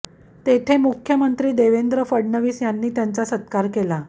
तेथे मुख्यमंत्री देवेंद्र फडणवीस यांनी त्यांचा सत्कार केला